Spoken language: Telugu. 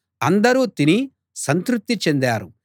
అందరూ తిని సంతృప్తి చెందారు